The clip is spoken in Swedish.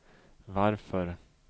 varför